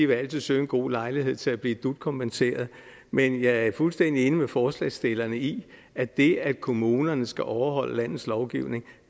vil søge en god lejlighed til at blive dut kompenseret men jeg er fuldstændig enig med forslagsstillerne i at det at kommunerne skal overholde landets lovgivning